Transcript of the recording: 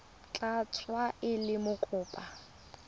tla tsewa e le mokopa